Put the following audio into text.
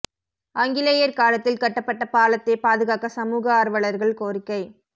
ஆங்கிலேயா் காலத்தில் கட்டபட்ட பாலத்தை பாதுகாக்க சமூக ஆா்வலா்கள் கோரிக்கை